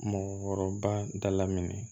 Mɔgɔkɔrɔba da la minɛ